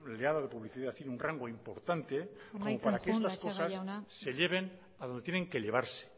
rodeado de publicidad tiene un rango importante para que las cosas se lleven a donde tienen que llevarse